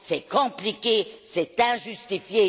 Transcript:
C'est compliqué, c'est injustifié.